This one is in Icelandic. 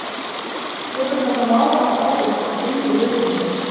Hefur þetta mál haft áhrif á gengi liðsins?